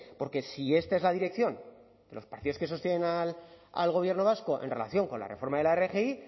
porque si esta es la dirección de los partidos que sostienen al gobierno vasco en relación con la reforma de la rgi